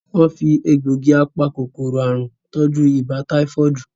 Wón fí Egbògi apa-kòkòrò àrùn tọjú ibà táífọ́ọ̀dù